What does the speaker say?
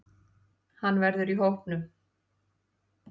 Hann verður í hópnum.